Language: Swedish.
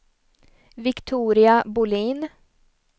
Viktoria Bohlin